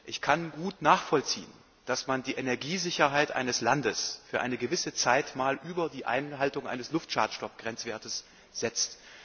Ich kann gut nachvollziehen, dass man die Energiesicherheit eines Landes für eine gewisse Zeit mal über die Einhaltung eines Luftschadstoffgrenzwertes setzt.